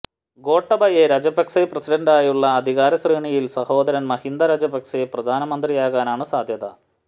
ഗോട്ടബയ രാജപക്സെ പ്രസിഡന്റായുള്ള അധികാരശ്രേണിയിൽ സഹോദരൻ മഹിന്ദ രാജപക്സെ പ്രധാനമന്ത്രിയാകാനാണ് സാധ്യത